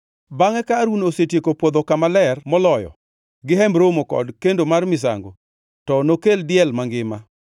“Bangʼe ka Harun osetieko pwodho Kama Ler Moloyo gi Hemb Romo kod kendo mar misango, to nokel diel mangima.